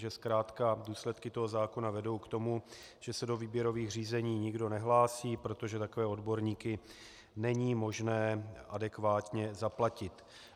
Že zkrátka důsledky toho zákona vedou k tomu, že se do výběrových řízení nikdo nehlásí, protože takové odborníky není možné adekvátně zaplatit.